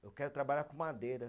Eu quero trabalhar com madeira.